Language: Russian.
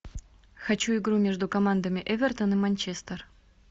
хочу игру между командами эвертон и манчестер